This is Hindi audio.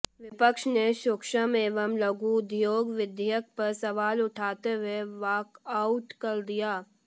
विपक्ष ने सूक्ष्म एवं लघु उधोग विधयेक पर सवाल उठाते हुए वाकआउट कर दिया